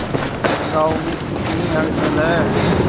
गांव में कितनी हलचल है